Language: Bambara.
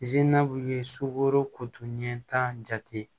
ye sukoro kotiniɲɛ ta jate